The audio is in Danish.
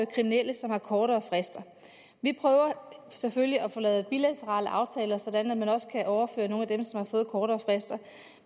kriminelle som har kortere frister vi prøver selvfølgelig at få lavet bilaterale aftaler sådan at man også kan overføre nogle af dem som har fået kortere frister